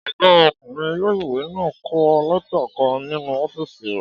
Ọgá ọkùnrin ilé-ìwé náà n kọ lẹ́tà kan nínu ọ́fìsì rẹ̀